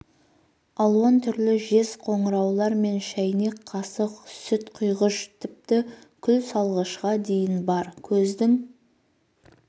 алуан түрлі жез қоңыраулар мен шайнек қасық сүт құйғыш тіпті күл салғышқа дейін бар көздің